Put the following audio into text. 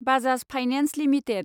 Bajaj finance limited